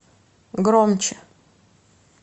громче